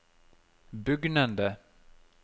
bugnende